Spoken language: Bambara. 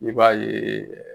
I b'a ye